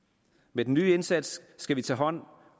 med den nye indsats skal vi tage hånd